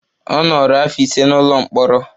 Ọ nọrọ afọ ise n'ụlọ mkpọrọ.